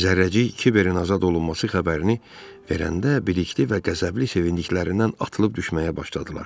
Zərrəcik Kiberin azad olunması xəbərini verəndə bilikli və qəzəbli sevindiklərindən atılıb düşməyə başladılar.